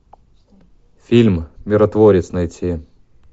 фильм миротворец найти